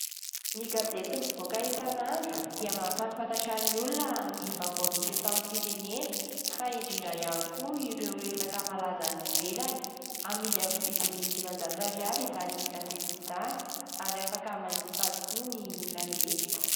Ny gazety mivoaka isan'andro dia mampahafantatra ny olona ny vaovao misy eto amin'ny firenena fa indrindra ihany koa ireo resaka malaza any ivelany. Amidy amin'ny vidiny dimanjato ariary izany gazety izany ary afaka manjifa azy koa ny olona rehetra.